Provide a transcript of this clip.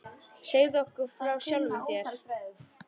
Segðu okkur frá sjálfum þér.